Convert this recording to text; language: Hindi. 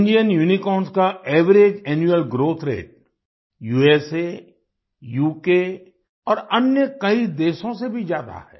इंडियन यूनिकॉर्न्स का average annual growth rate USA UK और अन्य कई देशों से भी ज्यादा है